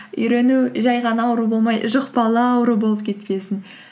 үйрену жай ғана ауру болмай жұқпалы ауру болып кетпесін